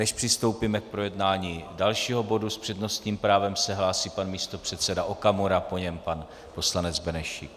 Než přistoupíme k projednání dalšího bodu, s přednostním právem se hlásí pan místopředseda Okamura, po něm pan poslanec Benešík.